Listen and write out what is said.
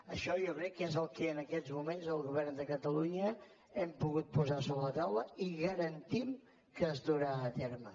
això jo crec que és el que en aquests moments el govern de catalunya hem pogut posar sobre la taula i garantim que es durà a terme